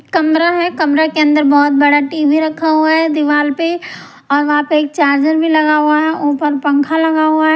कमरा है कमरे के अंदर बहुत बड़ा टी_वी रखा हुआ है दीवार पे और वहां पे एक चार्जर भी लगा हुआ है ऊपर पंखा लगा हुआ है।